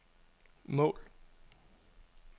mål